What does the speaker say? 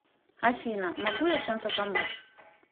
афина могу я чем то помочь